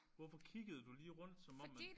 Hvorfor kiggede du lige rundt som om at